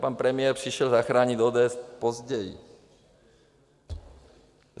Pan premiér přišel zachránit ODS později.